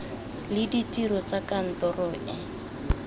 le ditiro tsa kantoro e